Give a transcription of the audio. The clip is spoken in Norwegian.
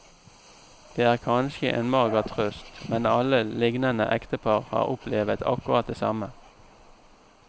Det er kanskje en mager trøst, men alle lignende ektepar har opplevet akkurat det samme.